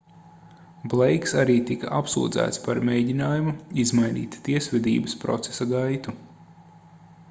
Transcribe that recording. bleiks arī tika apsūdzēts par mēģinājumu izmainīt tiesvedības procesa gaitu